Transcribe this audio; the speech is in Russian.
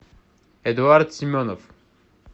эдуард семенов